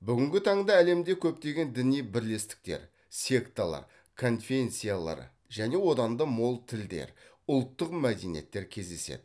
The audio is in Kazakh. бүгінгі таңда әлемде көптеген діни бірлестіктер секталар конфенссиялар және одан да мол тілдер ұлтгық мәдениеттер кездеседі